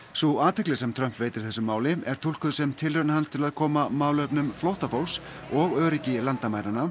sú athygli sem Trump veitir þessu máli er túlkuð sem tilraun hans til að koma málefnum flóttafólks og öryggi landamæranna